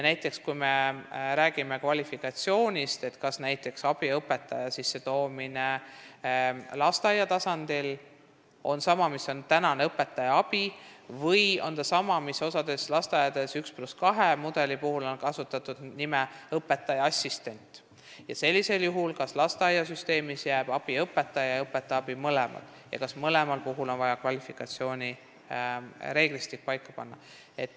Näiteks, kui me räägime kvalifikatsioonist, siis kas abiõpetaja sissetoomine lasteaia tasandile on sama, mis on praegune õpetaja abi, või on ta sama, mis osas lasteaedades on 1 + 2 mudeli puhul, kus on kasutatud õpetaja assistendi nimetust, ning kas sellisel juhul jäävad lasteaiasüsteemi nii abiõpetaja kui ka õpetaja abi mõlemad ja kas mõlema puhul on vaja kvalifikatsioonireeglistik paika panna.